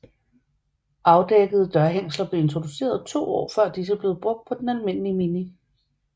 Afdækkede dørhængsler blev introduceret to år før disse blev brugt på den almindelige Mini